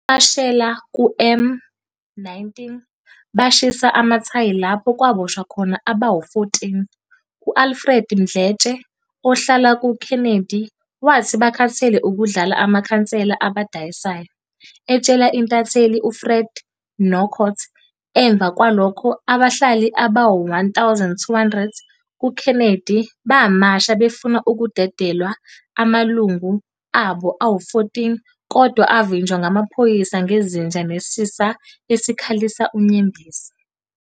Bamashela ku M19 bashisa amathayi lapho kwaboshwa khona abawu 14. uAlfred Mdletshe ohlala kuKennedy wathi bakhathele ukudlala amakhansela ebadayisa. etshela intatheli u-Fred Kockott emva kwalokho Abahlali abawu1200 kuKennedy bamasha befuna kudedelwe amalungu abo awu 14 kodwa avinjwa ngamaphoyisa ngezinja nesisa esikhalisa unyembezi.